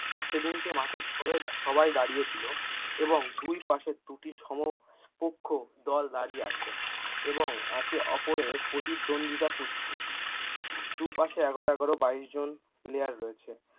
সেদিনকে মাঠের সবাই সবাই দাঁড়িয়েছিল এবং দুই পাশে দুটি সমপক্ষ দল দাঁড়িয়ে আছে এবং একে অপরের প্রতিদ্বন্দ্বিতা করছে দু পাশে এগারো এগারো বাইশ জন পেলেয়াড় আছে।